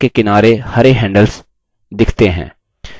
आप देखते हैं कि chart के किनारे हरे handles दिखते हैं